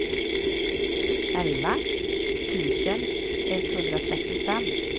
elva tusen etthundratrettiofem